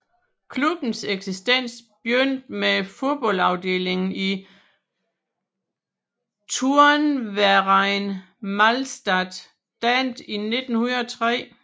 Klubbens eksistens begyndte med fodboldafdelingen i Turnverein Malstatt dannet i 1903